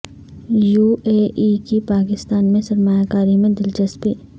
U A E کی پاکستان میں سرمایہ کاری میں دلچسپی